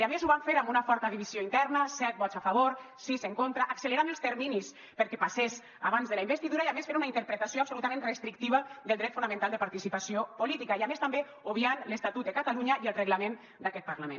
i a més ho van fer amb una forta divisió interna set vots a favor sis en contra accelerant els terminis perquè passés abans de la investidura i a més fent una interpretació absolutament restrictiva del dret fonamental de participació política i a més també obviant l’estatut de catalunya i el reglament d’aquest parlament